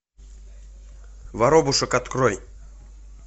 воробушек открой